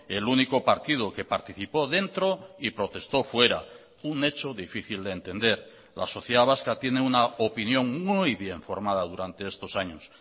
el único partido que participó dentro y protestó fuera un hecho difícil de entender la sociedad vasca tiene una opinión muy bien formada durante estos años